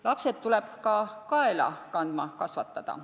Lapsed tuleb ka kaela kandma kasvatada.